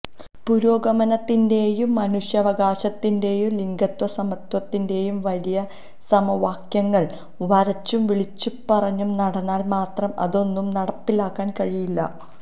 പുരോഗമനത്തിന്റെയും മനുഷ്യാവകാശത്തിന്റെയും ലിംഗസമത്വത്തിന്റെയും വലിയ സമവാക്യങ്ങള് വരച്ചും വിളിച്ചുപറഞ്ഞും നടന്നാല് മാത്രം അതൊന്നും നടപ്പിലാക്കാന് കഴിയില്ല